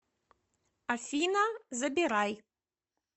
афина забирай